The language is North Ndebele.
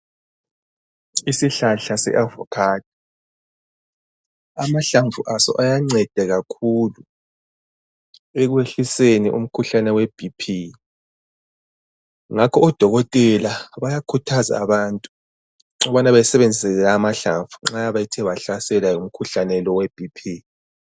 Isihlahla se avocado amahlamvu aso ayanceda kakhulu ekwehliseni umkhuhlane we bp ngakho odokotela bayakhuthaza abantu ukubana besebenzise la amahlamvu nxa bethe bahlaselwa ngumkhuhlane lo we bp.